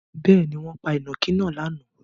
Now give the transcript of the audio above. Bẹ́ẹ̀ni, wọ́n pa ìnàkí náà lánàá.